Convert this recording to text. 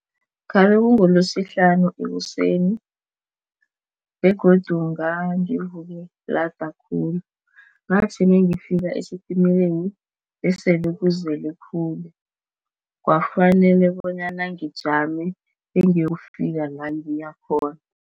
Khabe kungeLesihlanu ekuseni begodu ngangivuke lada khulu. Ngathi nangifika esitimeleni besele kuzele khulu kwafanele bonyana ngijame bengiyokufika langiyakhona.